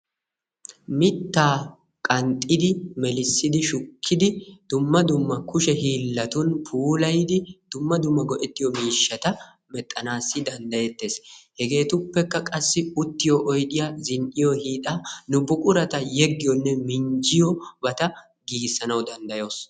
Mittaa qanxxidi, melissidi, shukkidi dumma dumma kushe hiillatun puulayidi dumma dumma go'ettiyo miishshata mexxanaassi danddayettees. Hegeetuppekka qassi: uttiyo oydiya zin"iyo hiixaa, nu buqurata yeggiyobatanne minjjiyobata giigissanawu danddayawusu.